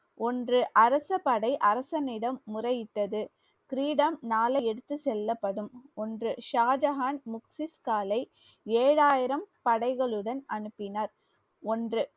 ஒன்று அரச படை அரசனிடம் முறையிட்டது கிரீடம் நாளை எடுத்து செல்லப்படும் ஒன்று ஷாஜஹான் ஏழாயிரம் படைகளுடன் அனுப்பினார் ஒன்று